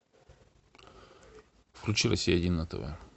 включи россия один на тв